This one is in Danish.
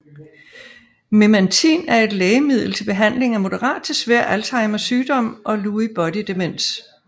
Memantin er et lægemiddel til behandling af moderat til svær Alzheimers sygdom og Lewy Body demens